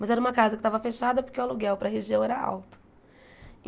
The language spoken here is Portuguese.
Mas era uma casa que estava fechada porque o aluguel para a região era alto.